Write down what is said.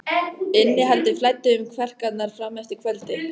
Innihaldið flæddi um kverkarnar fram eftir kvöldi.